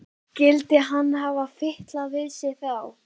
Skyldi hann hafa fitlað við sig þá?